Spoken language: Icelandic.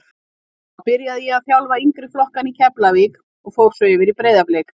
Þá byrjaði ég að þjálfa yngri flokkana í Keflavík og fór svo yfir í Breiðablik.